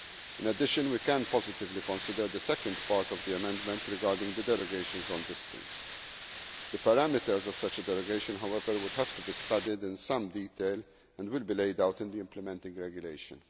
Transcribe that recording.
In addition we can positively consider the second part of the amendment regarding the derogations on distance. The parameters of such a derogation, however, would have to be studied in some detail and will be laid out in the implementing regulation.